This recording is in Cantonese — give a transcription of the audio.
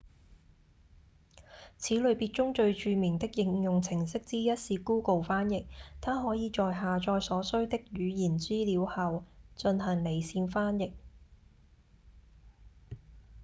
此類別中最著名的應用程式之一是 google 翻譯它可以在下載所需的語言資料後進行離線翻譯